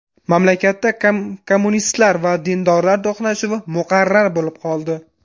Mamlakatda kommunistlar va dindorlar to‘qnashuvi muqarrar bo‘lib qoldi.